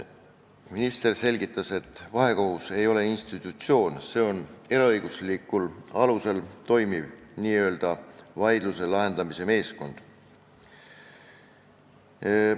Minister selgitas, et vahekohus ei ole institutsioon, see on eraõiguslikul alusel tegutsev vaidluse lahendamise meeskond.